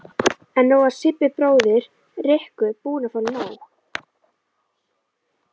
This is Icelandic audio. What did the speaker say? En nú var Sibbi bróðir Rikku búinn að fá nóg.